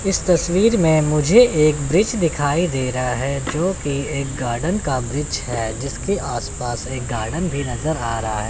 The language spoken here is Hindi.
इस तस्वीर में मुझे एक वृक्ष दिखाई दे रहा है जोकि एक गार्डन का वृक्ष है जीसके आस पास एक गार्डन भी नज़र आ रहा है।